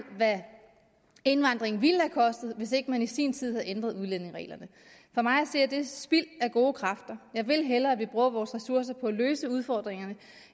hvad indvandringen ville have kostet hvis ikke man i sin tid havde ændret udlændingereglerne for mig at se er det spild af gode kræfter jeg vil hellere at vi bruger vores ressourcer på at løse udfordringerne